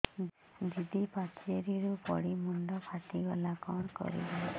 ଦିଦି ପାଚେରୀରୁ ପଡି ମୁଣ୍ଡ ଫାଟିଗଲା କଣ କରିବି